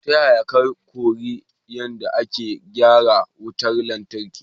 Ta yaya ka koyi yadda ake gyara wutar lantarki?